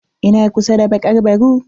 Ina kusa da bakar baru.